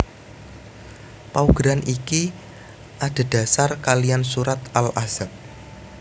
Paugeran iki adhedhasar kaliyan Surat Al Ahzab